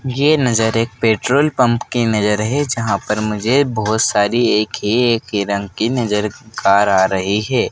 ये नज़र एक पेट्रोल पंप की नज़र है जहां पर मुझे बहोत सारी एक ही एक ही रंग की नजर कार आ रही है।